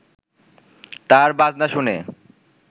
তার বাজনা শুনে